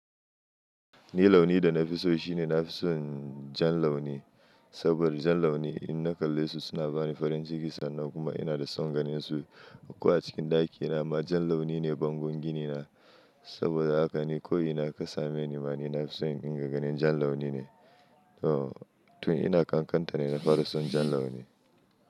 Ni launi da na fi so shine na fi son jan launi, saboda jan launi in na kalle su suna bani farin jiki sannan kuma ina da son ganinsu. Ko a cikin ɗakina ma jan launi ne bangon ginina saboda haka ni ko ina kasa meni ma ni na fi son in ga ganin jan launi ne. To tun ina ƙanƙanta ne na fara son jan launi.